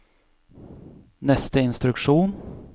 neste instruksjon